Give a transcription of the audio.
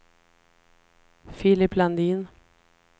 Filip Landin